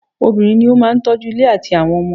Obìnrin ní o máà tọ́ju ilé àtí àwọn ọmọ.